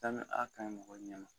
Witamini A ka ɲi mɔgɔ ɲɛ ma